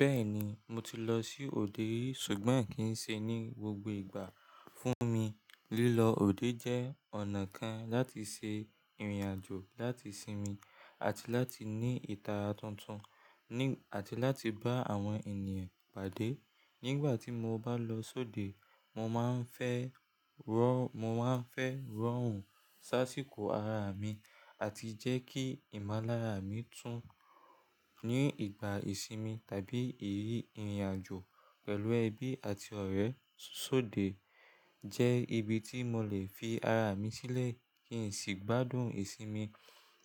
Bẹ́ẹ̀ni, mo ti lọ sí òde rí, ṣùgbọ́n kì í ṣe ní gbogbo ìgbà. Fún mi, lílọ òde jẹ́ ọ̀nà kan láti ṣe ìrìnàjò láti sinmi àti láti ní ìtara tuntun, ni àti láti bá àwọn ènìyàn pàdé. Nígbà tí mo bá lọ sóde, mo máa ń fẹ́ rọrùn sáṣíkò ara mi àti jẹ́ kí ìmọ̀lára mi tún. Ní ìgbà ìsinmi tàbí ìrírí ìrìnàjò pẹ̀lú ẹbí àti ọ̀rẹ́, sóde jẹ́ ibi tí mo lè fi ara mi sílẹ̀ kí n sì gbádùn ìsinmi.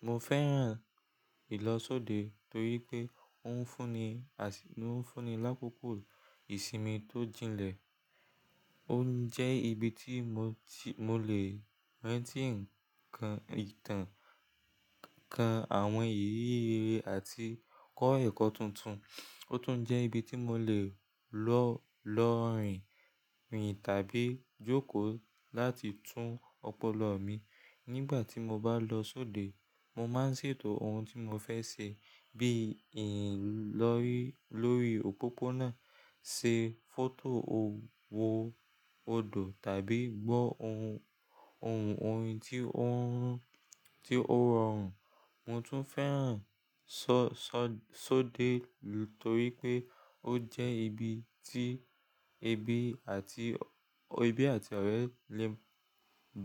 Mo fẹ́ràn ìlọ̀ sóde torí pé ó ń fún ni lákòókò ìsinmi tó jinlẹ̀. Ó ń jẹ́ ibi tí mo lè rántí ǹkan, kan àwọn ìrírí àti kọ́ ẹ̀kọ́ tuntun. Ó tún jẹ́ ibi tí mo lè lọ rìn tàbí jókòó láti tún ọpọlọ mi. Nígbà tí mo bá lọ sóde, mo máa ń ṣètò ohun tí mo fẹ́ ṣe bí i ìrìn lórí òpópónà, ṣe fọ́tò òwò odò tàbí gbọ́ ohun. Ohun orin tí ó rọrùn. Mo tún fẹ́ràn sóde torí pé ó jẹ́ ibi tí ẹbí àti ọ̀rẹ́ lè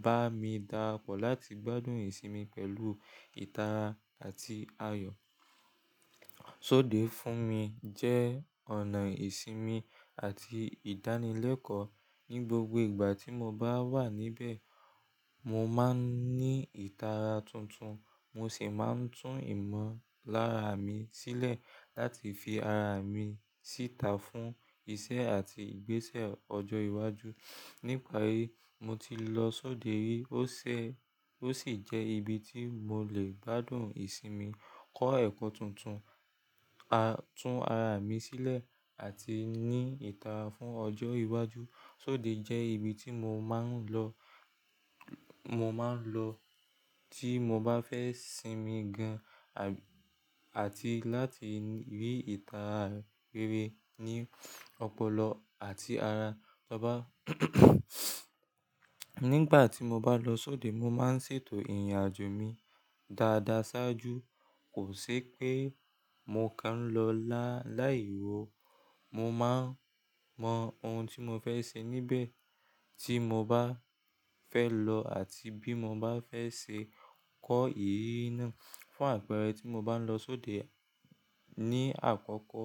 bá mi darapọ̀ láti gbádùn ìsinmi pẹ̀lú ìtara àti ayọ̀. Sóde fún mi jẹ́ ọ̀nà ìsinmi àti ìdánilẹ́kọ̀ọ́. Ní gbogbo ìgbà tí mo bá wà níbẹ̀, mo máa ń ní ìtara tuntun, mo sì máa ń tún ìmọ̀lára mi sílẹ̀ láti fi ara mi síta fún iṣẹ́ àti ìgbésẹ̀ ọjọ́ iwájú. Nípa rí, mo ti lọ sóde rí ó sì jẹ́ ibi tí mo lè gbádùn ìsinmi, kọ́ ẹ̀kọ́ tuntun, tún ara mi sílẹ̀ àti ní ìtara fún ọjọ́ iwájú. Sóde jẹ́ ibi tí mo má ń lọ, tí mo bá fẹ́ sinmi gan àti láti rí ìtara rere ní ọpọlọ àti ara taba n. Nígbà tí mo bá lọ sóde, mo máa ń ṣètò ìrìnàjò mi dáadáa ṣáájú. Kò ṣe pé mo kán lọ láì wò. Mo máa mọ ohun tí mo fẹ́ ṣe níbẹ̀ tí mo bá fẹ́ lọ àti bí mo bá fẹ́ ṣe kọ́ ìrírí náà. Fún àpẹẹrẹ, tí mo bá ń lọ sóde ní àkókò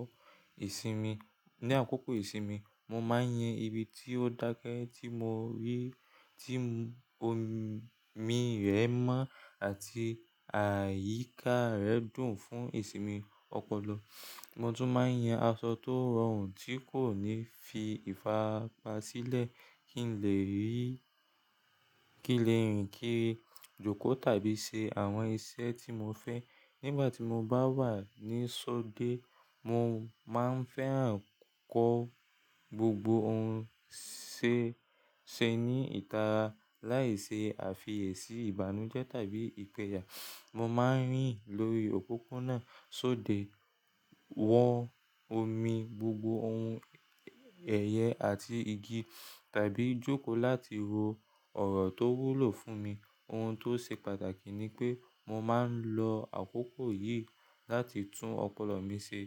ìsinmi, mo máa ń yan ibi tí ó dáke tí mo rí, tí omi rẹ̀ mọ́ àti àyíká rẹ̀ dùn fún ìsinmi ọpọlọ. Mo tún máa ń yan aṣọ tó rọrùn tí kò ní fi ìfápa sílẹ̀ kí n lè rìn kiri, jókòó tàbí ṣe àwọn iṣẹ́ tí mo fẹ́. Nígbà tí mo bá wà ní sóde, mo máa ń fẹ́ràn kó gbogbo ohun ṣe ní ìtara láì ṣe àfiyèsí ìbànújẹ́ tàbí ìpẹ̀yà. Mo máa ń rìn lórí òpópónà sóde, wọ̀n omi, gbogbo ohun ẹ̀yẹ àti igi tàbí jókòó láti ro ọ̀rọ̀ tó wúlò fún mi. Ohun tó ṣe pàtàkì ni pé mo máa ń lo àkókò yìí láti tún ọpọlọ mi ṣe,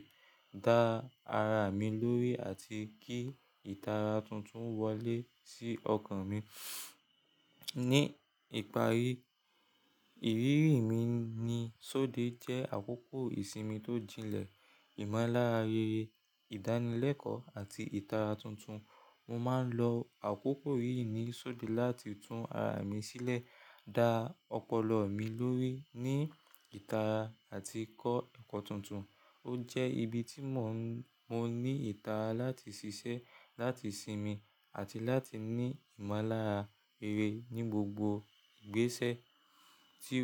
dá ara mi lórí àti kí ìtara tuntun wọ́lé sí ọkàn mi. Ní ìparí, ìrírí mi ní sóde jẹ́ àkókò ìsinmi tó jinlẹ̀, ìmọ̀lára rere, ìdánilẹ́kọ̀ọ́ àti ìtara tuntun. Mo máa ń lo àkókò yìí ní sóde láti tún ara mi sílẹ̀, dá ọpọlọ mi lórí ní ìtara àti kọ́ ẹ̀kọ́ tuntun. Ó jẹ́ ibi tí mo ní ìtara láti ṣiṣẹ́, láti sinmi àti láti ní ìmọ̀lára rere ní gbogbo ìgbésẹ̀ tí.